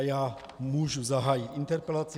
A já můžu zahájit interpelaci.